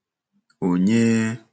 onye,